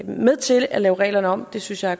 med til at lave reglerne om det synes jeg